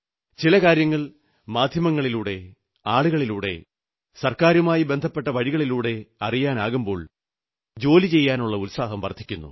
ചില കാര്യങ്ങൾ മാധ്യമങ്ങളിലൂടെ ആളുകളിലൂടെ സർക്കാരുമായി ബന്ധപ്പെട്ട വഴികളിലൂടെ അറിയാനാകുമ്പോൾ ജോലി ചെയ്യാനുള്ള ഉത്സാഹം വർധിക്കുന്നു